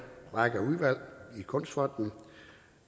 række af udvalg i kunstfonden